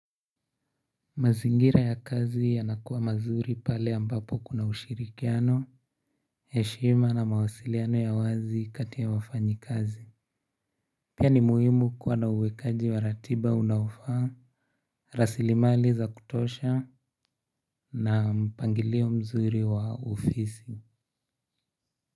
Mazingira ya kazi yanakuwa mazuri pale ambapo kuna ushirikiano, heshima na mawasiliano ya wazi kati ya wafanyi kazi. Pia ni muhimu kuwa na uwekaji wa ratiba unafaa, rasilimali za kutosha na mpangilio mzuri wa ufisi.